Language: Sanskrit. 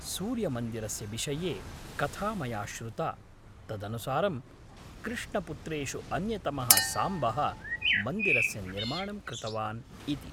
सूर्यमन्दिरस्य विषये कथा मया श्रुता। तदनुसारं कृष्णपुत्रेषु अन्यतमः साम्बः मन्दिरस्य निर्माणं कृतवान् इति।